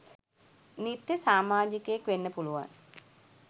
නිත්‍ය සාමාජිකයෙක් වෙන්න පුළුවන්.